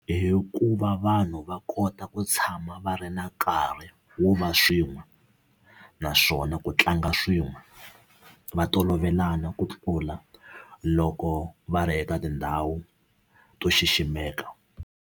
Hi ku va vanhu va kota ku tshama va ri na nkarhi wo va swin'we naswona ku tlanga swin'we va tolovelana ku tlula loko va ri eka tindhawu to xiximeka.